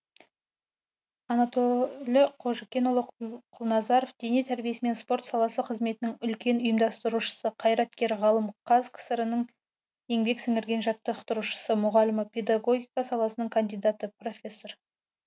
анатөлі қожыкенұлы құлназаров дене тәрбиесімен спорт саласы қызметнің үлкен ұйымдастырушысы қайраткер ғалым қазкср інің еңбек сіңірген жаттықтырушысы мұғалімі педагогика саласының кандидаты профессор